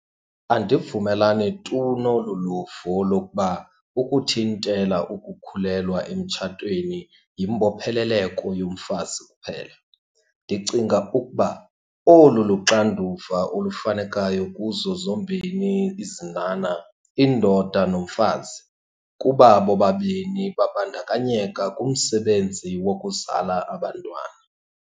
Andivumelani tu nolu luvo lokuba ukuthintela ukukhulelwa emtshatweni yimbopheleleko yomfazi kuphela. Ndicinga ukuba olu luxanduva olufunekayo kuzo zombini izinhanha, indoda nomfazi, kuba bobabini babandakanyeka kumsebenzi wokuzala abantwana.